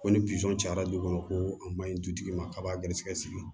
Ko ni cayara du kɔnɔ ko a man ɲi dutigi ma kab'a garisɛgɛ sigi